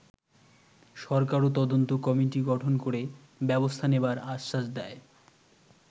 সরকারও তদন্ত কমিটি গঠন করে ব্যবস্থা নেবার আশ্বাস দেয়।